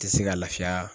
Tɛ se ka lafiya